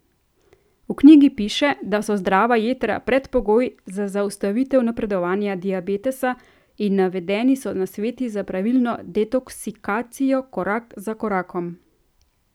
V knjigi piše, da so zdrava jetra predpogoj za zaustavitev napredovanja diabetesa, in navedeni so nasveti za pravilno detoksikacijo korak za korakom.